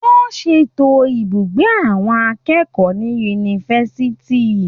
Wọ́n ṣètò ibùgbé àwọn akẹ́kọ̀ọ́ ní yunifásitì.